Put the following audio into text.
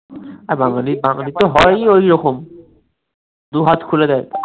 বাঙালী বাঙালী তো হয়ই ঐরকম দু’হাত খুলে দেয়